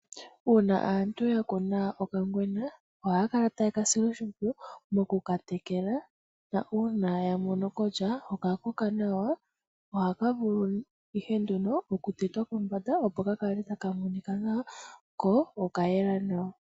Uuna aantu yakuna okangwena ohaakala tayekasile oshipwiyu mokukatekela na uuna yamono kutya okakoka nawa, ohakavulu ihe nduno okutetwa kombanda, opo kakale takamonika nawa ko.okayela nawa.